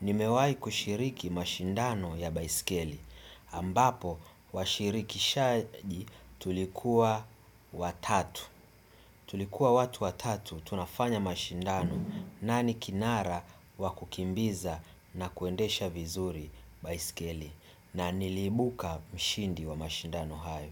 Nimewahi kushiriki mashindano ya baiskeli. Ambapo, washirikishaji tulikuwa watatu. Tulikuwa watu watatu tunafanya mashindano. Nani kinara wa kukimbiza na kuendesha vizuri baiskeli. Na niliibuka mshindi wa mashindano hayo.